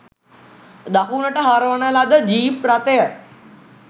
දකුණට හරවන ලද ජීප් රථය